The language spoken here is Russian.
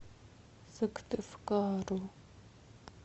сыктывкару